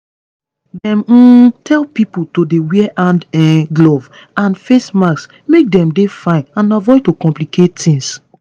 dem um tell pipo to dey wear hand um gloves and face masks make dem dey fine and avoid to complicate tings